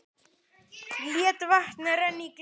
Læt vatn renna í glasið.